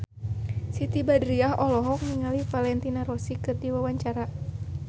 Siti Badriah olohok ningali Valentino Rossi keur diwawancara